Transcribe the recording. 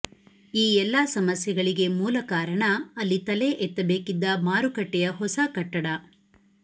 ಈ ಎಲ್ಲ ಸಮಸ್ಯೆಗಳಿಗೆ ಮೂಲಕಾರಣ ಅಲ್ಲಿ ತಲೆ ಎತ್ತಬೇಕಿದ್ದ ಮಾರುಕಟ್ಟೆಯ ಹೊಸ ಕಟ್ಟಡ